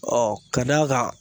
Ɔɔ ka d'a kan